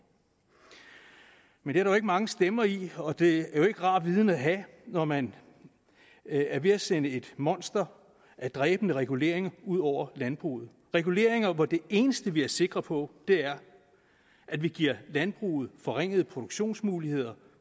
men det er der jo ikke mange stemmer i og det er en rar viden at have når man er ved at sende et monster af dræbende reguleringer ud over landbruget reguleringer hvor det eneste vi er sikre på er at vi giver landbruget forringede produktionsmuligheder